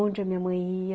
Onde a minha mãe ia